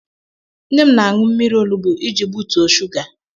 Nne m na-aṅụ mmiri olugbu iji butuo shuga.